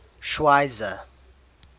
schweizer